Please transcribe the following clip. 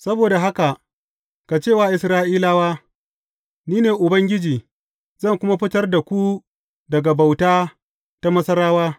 Saboda haka, ka ce wa Isra’ilawa, Ni ne Ubangiji, zan kuma fitar da ku daga bauta ta Masarawa.